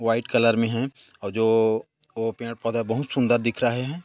White colour में है और जो ओ ओ पेड़- पौधा बहुत सुंदर दिख रहे है।